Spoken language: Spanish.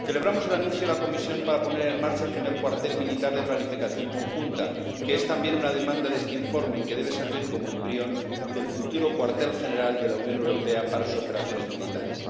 Celebramos el anuncio de la Comisión de la puesta en marcha del primer cuartel militar de planificación conjunta, que es también una demanda de este informe y que debe servir como embrión del futuro cuartel general de la Unión Europea para sus operaciones militares.